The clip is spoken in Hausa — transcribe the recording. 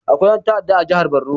Akwai ƴan ta'adda a jihar barno